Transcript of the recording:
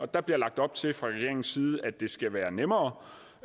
der bliver lagt op til fra regeringens side at det skal være nemmere